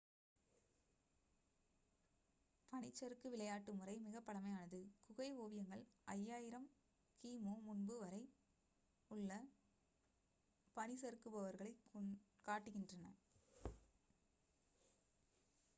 பனிச்சறுக்கு விளையாட்டு முறை மிகப் பழமையானது - குகை ஓவியங்கள் 5000 கி.மு. முன்பு வரை உள்ள பனிசறுக்குபவர்களைக் காட்டுகின்றன